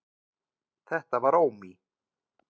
Þetta var Ómi: